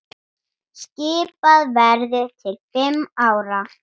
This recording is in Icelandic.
Skipað verður til fimm ára.